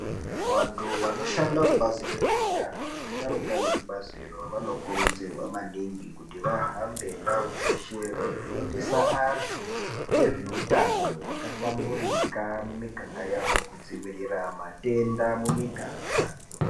Vantu vanoshanda kubazi rezveutano vasharuka vekubaziro vanokurudzirwa maningi kuti vahambe ndau dzeshe veifundisa antu ngezveutano hwakahlamburika mumiganga yavo kudzivirira matenda mumiganga.